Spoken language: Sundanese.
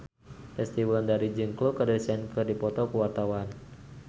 Resty Wulandari jeung Khloe Kardashian keur dipoto ku wartawan